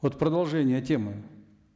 вот продолжение темы